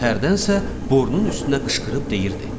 Hərdənsə borunun üstünə qışqırıb deyirdi: